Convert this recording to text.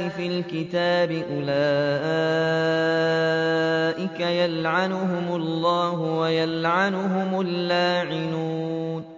فِي الْكِتَابِ ۙ أُولَٰئِكَ يَلْعَنُهُمُ اللَّهُ وَيَلْعَنُهُمُ اللَّاعِنُونَ